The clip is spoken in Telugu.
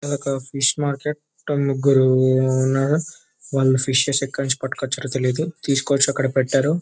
ఇది ఒక ఫిష్ మార్కెట్ ముగ్గురు ఉన్నారు ఫిష్ ఎక్కడ నుండి తెచ్చారో తెలీదు అక్కడ తీసుకోని వచ్చి పెట్టారు --